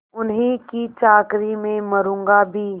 उन्हीं की चाकरी में मरुँगा भी